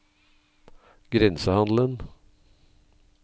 grensehandelen